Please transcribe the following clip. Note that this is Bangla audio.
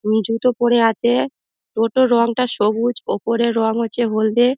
উনি জুতো পরে আছে। টোটো রংটা সবুজ ওপরের রং হচ্ছে হলদে।